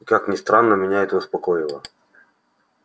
и как ни странно меня это успокоило